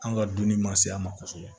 An ka dunni man se a ma kosɛbɛ